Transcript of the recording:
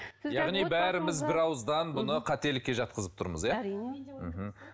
яғни бәріміз бір ауыздан бұны қателікке жатқызып тұрмыз иә әрине мхм